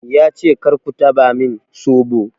Ya ce "kar ku taɓa min soɓo!'